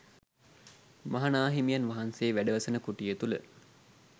මහ නා හිමියන් වහන්සේ වැඩ වසන කුටිය තුළ